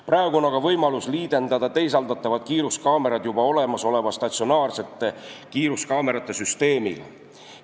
Praegu on aga võimalus liidendada teisaldatavad kiiruskaamerad juba olemasoleva statsionaarsete kiiruskaamerate süsteemiga.